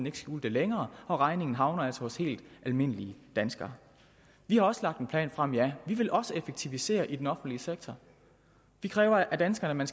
ikke skjule det længere og regningen havner altså hos helt almindelige danskere vi har også lagt en plan frem ja vi vil også effektivisere i den offentlige sektor det kræver af danskerne